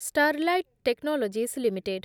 Sterlite Technologies limited